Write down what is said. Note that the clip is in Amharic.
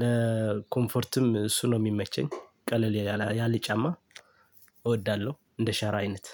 ለኮምፈርትም እሱ ነው የሚመቸኝ። ቀለል ያለ ጫማ እወዳለሁ እንደ ሸራ አይነት።